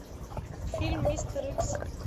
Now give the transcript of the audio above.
фильм мистер икс